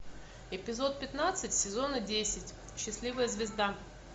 эпизод пятнадцать сезона десять счастливая звезда